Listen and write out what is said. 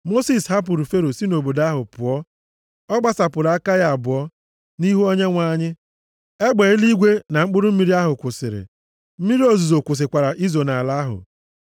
Mosis hapụrụ Fero si nʼobodo ahụ pụọ. Ọ gbasapụrụ aka ya abụọ nʼihu Onyenwe anyị, egbe eluigwe na mkpụrụ mmiri ahụ kwụsịrị. Mmiri ozuzo kwụsịkwara izo nʼala ahụ.